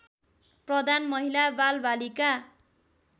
प्रधान महिला बालबालिका